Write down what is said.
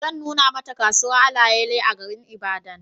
Zan nuna Mata kasuwar alayale a garin Ibadan